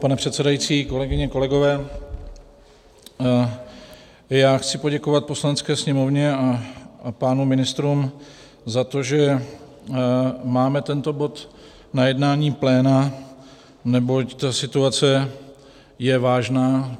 Pane předsedající, kolegyně, kolegové, já chci poděkovat Poslanecké sněmovně a pánům ministrům za to, že máme tento bod na jednání pléna, neboť ta situace je vážná.